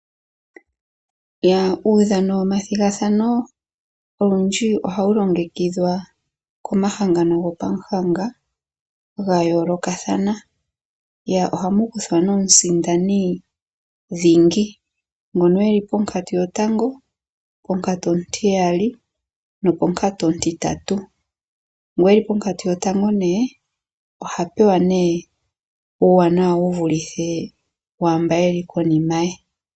Uudhano womathigathano olundji ohawu longekidhwa komahangano gopamuhanga ga yoolokathana. Ohamu kuthwa nduno omusindani dhingi ngoka e li ponkatu yotango, ponkatu ontiyali noponkatu ontintantu. Ngoka e li ponkatu yotango oha pewa uuwanawa wu vulithe waa mboka ye li konima ye.